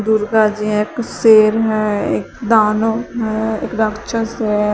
दुर्गा जी हैं एक शेर हैं एक दानव हैं एक राक्षस है।